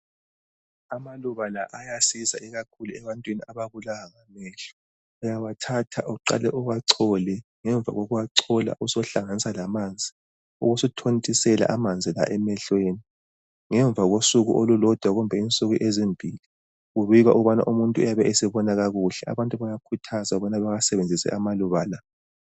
Amaluba la ayasiza ikakhulu ebantwini ababulawa ngamehlo. Uyawathatha uqale uwachole ngemva kokuwachola usu uhlanganisa lamanzi ubese uthontisela amanzi la emehlweni ngemva kosuku kumbe insuku ezimbili kubikwa ukubana umuntu uyabesebona kakuhle. Abantu bayakhuthazwa ukuthi bawusebenzise amaluba la.